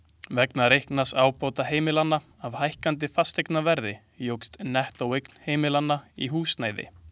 Vegna reiknaðs ábata heimilanna af hækkandi fasteignaverði jókst nettóeign heimilanna í húsnæði.